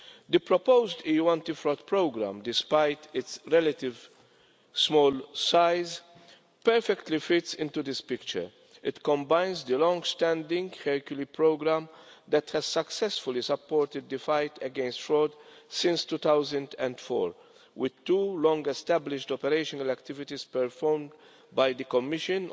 The proposed EU Anti Fraud Programme, despite its relatively small size, fits perfectly into this picture. It combines the longstanding Hercule programme, which has successfully supported the fight against fraud since 2004, with two long established operational activities performed by the Commission